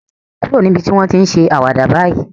Kúrò níbi tí wọ́n ti ń ṣe àwàdà báyìí